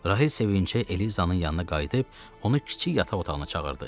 Rahil sevinclə Elizanın yanına qayıdıb, onu kiçik yataq otağına çağırdı.